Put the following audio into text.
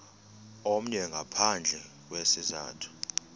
omnye ngaphandle kwesizathu